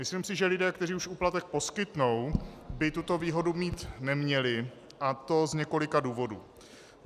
Myslím si, že lidé, kteří už úplatek poskytnou, by tuto výhodu mít neměli, a to z několika důvodů.